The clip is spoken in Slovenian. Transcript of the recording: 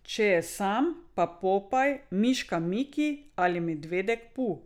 Če je sam, pa Popaj, miška Miki ali medvedek Pu.